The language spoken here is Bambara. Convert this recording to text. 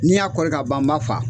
Ni n y'a kɔri ka ban n b'a fa.